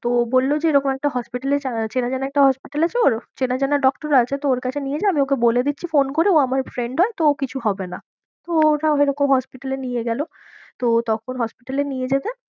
তো ও বললো যে এরকম একটা hospital এ চেনাজানা একটা hospital আছে, ওর চেনাজানা doctor আছে তো ওর কাছে নিয়ে যা আমি ওকে বলে দিচ্ছি phone করে ও আমার friend হয় তো ও কিছু হবে না, ও এরকম hospital এ নিয়ে গেলো তো তখন hospital এ নিয়ে যেতে